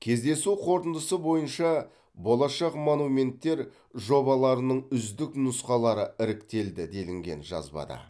кездесу қорытындысы бойынша болашақ монументтер жобаларының үздік нұсқалары іріктелді делінген жазбада